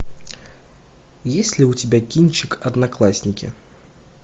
есть ли у тебя кинчик одноклассники